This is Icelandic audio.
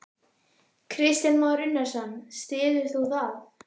Kristján Már Unnarsson: Styður þú það?